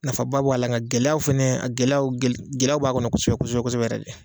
Nafaba b'a la nga gɛlɛyaw fɛnɛ, a gɛlɛyaw gɛlɛya b'a kɔnɔ kosɛbɛ kosɛbɛ kosɛbɛ yɛrɛ de.